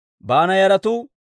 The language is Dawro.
Adiina yaratuu 454.